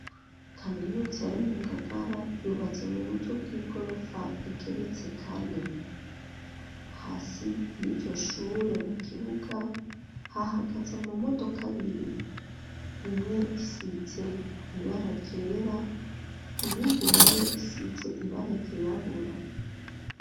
Kaminuza yo mu Ngagara yubatse mu buryo bw'igorofa igeretse kane. Hasi y'iryoshure mu kibuga hahagaza mu modoka abiri imwe isize ibara ryera iyindi na yo isize ibara ryirabura.